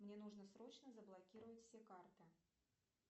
мне нужно срочно заблокировать все карты